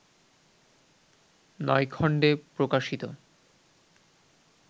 নয় খণ্ডে প্রকাশিত